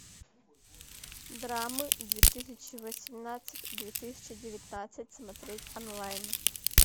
драмы две тысячи восемнадцать две тысячи девятнадцать смотреть онлайн